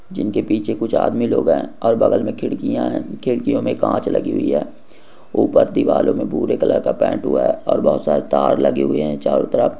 जिनके पीछे कुछ आदमी लोग हैं और बगल में खिड़कियां हे खिड़कियों में कांच लगी हुई है ऊपर दीवालो में बुरे कलर का पेंट हुआ है और बहुत सारे तार लगे हुए हैं चारों तरफ--